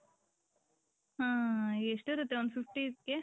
ಹ್ಮ್ಮ್ ಎಷ್ಟ್ ಇರುತೆ ಒಂದ್ fifty .